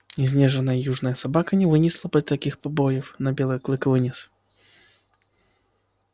изнеженная южная собака не вынесла бы таких побоев но белый клык вынес